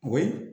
O ye